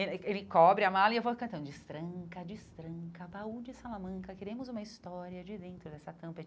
Ele ele cobre a mala e eu vou cantando, destranca, destranca, baú de salamanca, queremos uma história de dentro dessa tampa.